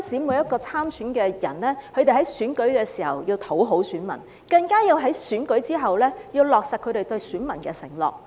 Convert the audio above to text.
每一位參選人不僅在選舉時要討好選民，在選舉之後，更加要落實他們對選民的承諾。